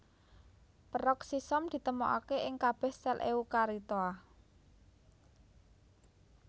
Peroksisom ditemokaké ing kabèh sèl eukariota